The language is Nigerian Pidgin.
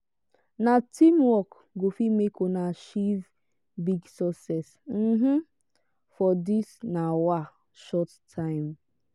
na teamwork go fit make una achieve big success um for dis um short time.